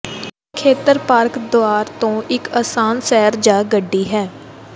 ਇਹ ਖੇਤਰ ਪਾਰਕ ਦੇ ਦੁਆਰ ਤੋਂ ਇੱਕ ਆਸਾਨ ਸੈਰ ਜਾਂ ਗੱਡੀ ਹੈ